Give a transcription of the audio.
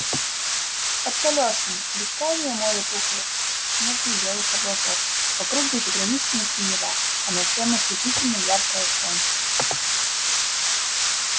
под колёсами бескрайнее море пухлых снежно-белых облаков вокруг безграничная синева а над всем ослепительно яркое солнце